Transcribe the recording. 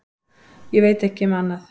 Ég veit ekki um annað.